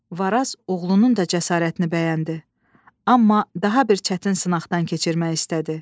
Varaz oğlunun da cəsarətini bəyəndi, amma daha bir çətin sınaqdan keçirmək istədi.